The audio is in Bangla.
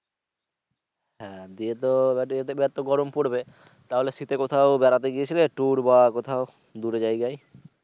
হ্যা যেহেতু এবারে এতো গরম পরবে তাহলে শীতে কোথাও বেড়াতে গিয়েছিলে tour বা কোথাও দূরে জায়গায়?